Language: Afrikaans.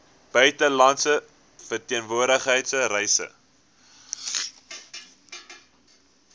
buitelandse verteenwoordiging reise